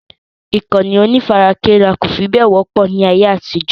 Ìkànnì onífarakínra kò fi bẹ́ẹ̀ wọ́pọ̀ ní ayé àtijó.